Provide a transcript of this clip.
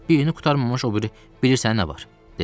Birini qurtarmamış o biri bilirsən nə var, dedim.